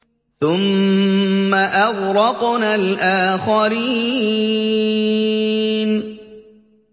ثُمَّ أَغْرَقْنَا الْآخَرِينَ